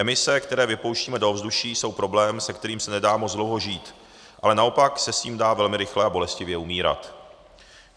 Emise, které vypouštíme do ovzduší, jsou problém, se kterým se nedá moc dlouho žít, ale naopak se s tím dá velmi rychle a bolestivě umírat.